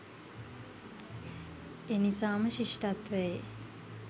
එනිසාම ශිෂ්ඨත්වයේ